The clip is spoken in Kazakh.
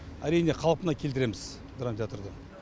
әрине қалпына келтіреміз драмтеатрды